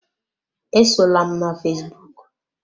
Esola m na fesbụụk!